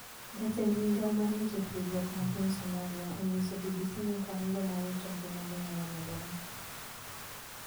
Jatend migao mar weche tudruok mapiny Somalia onyiso BBC ni kwan jomowito ngimagi nyalo medore.